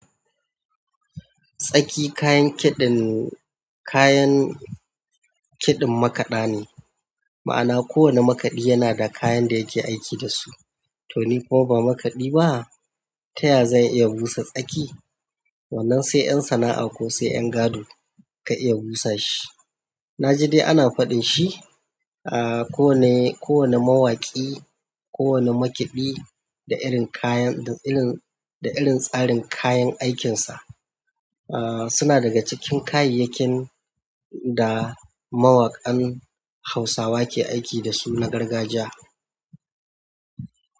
Tsaki kayan kiɗin, kayan kiɗin makaɗa ne. Ma'ana kowane makaɗi yana da kayan da yake aiki da su. Toni kuma ba makaɗi ba, ta ya zan iya busa tsaki? Wannan sai 'yan sana'a ko sai 'yan gado ka iya busa shi. Na ji dai ana faɗin shi, ah, ko wane, kowane mawaƙi, kowane maƙiɗi da irin kayan, da irin, da irin tsarin kayan aikinsa. Ah, suna daga cikin kayayyakin da mawakan Hausawa ke aiki da su na gargajiya.